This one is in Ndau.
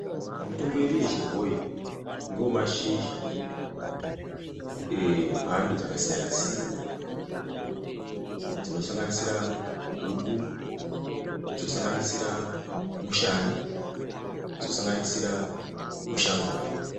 Mitombo yedu yechibhoyi ngeyo mashizha emhando dzakasiyana-siyana dzinosanganisira guku, dzinosanganisira mushani, dzinosanganisira mushangura.